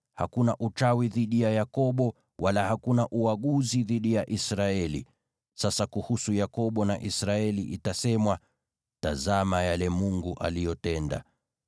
Hakuna uchawi dhidi ya Yakobo, wala hakuna uaguzi dhidi ya Israeli. Sasa itasemwa kuhusu Yakobo na Israeli, ‘Tazama yale Mungu aliyotenda!’